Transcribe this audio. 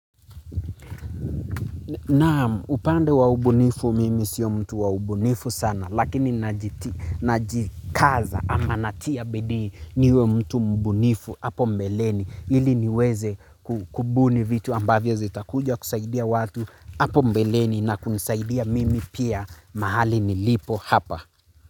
Naam, upande wa ubunifu mimi sio mtu wa ubunifu sana lakini najikaza ama natia bidii niwe mtu mbunifu hapo mbeleni ili niweze kubuni vitu ambavyo zita kuja kusaidia watu hapo mbeleni na kunisaidia mimi pia mahali nilipo hapa.